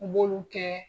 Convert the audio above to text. U b'olu kɛ